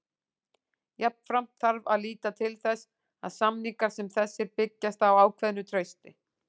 Jafnframt þarf að líta til þess að samningar sem þessir byggjast á ákveðnu trausti.